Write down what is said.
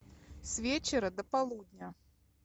с вечера до полудня